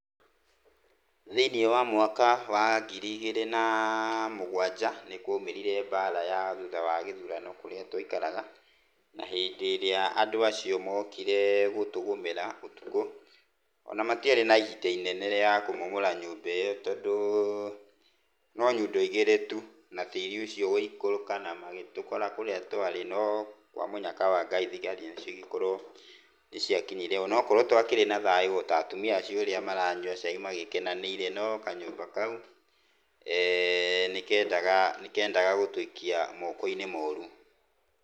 Thĩinĩ wa mwaka wa ngiri igĩri na mugwanja nĩkwoimĩrire mbara ya thutha wa gĩthurano kũrĩa twaikaraga, na hĩndĩ ĩrĩa andũ acio mokire gũtũgũmĩra ũtukũ ona matiarĩ na ihinda inene rĩa kũmomora nyũmba ĩyo tondũ no nyundo igĩrĩ tu na tĩri ucio ũgĩikũrũka na magĩtũkora kũria twarĩ, no kwa mũnyaka wa Ngai thigari cigĩkorwo nĩ ciakinyire ona okorũo twakĩrĩ na thayũ o ta atumia acio ũrĩa maranyua cai magĩkenanĩire no kanyũmba kau nĩ kendaga gũtũikia mokoĩnĩ moru.